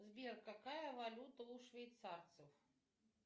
сбер какая валюта у швейцарцев